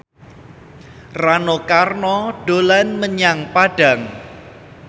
Rano Karno dolan menyang Padang